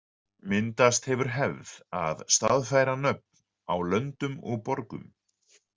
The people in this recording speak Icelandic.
Myndast hefur hefð að staðfæra nöfn á löndum og borgum.